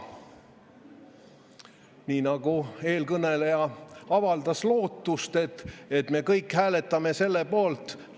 Aga eelkõneleja avaldas lootust, et me kõik hääletame selle poolt.